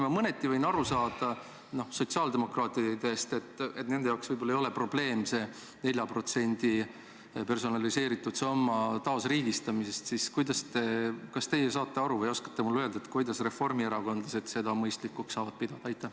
Ma mõneti võin aru saada sotsiaaldemokraatidest, et nende jaoks võib-olla ei ole probleem see 4% teise samba raha taasriigistamine, aga kas teie saate aru ja oskate mulle öelda, kuidas reformierakondlased seda mõistlikuks saavad pidada?